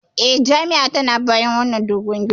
E, jami'a tana bayan wannan doguwar ginin.